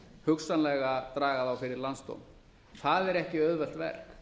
hugsanlega draga þá fyrir landsdóm það er ekki auðvelt verk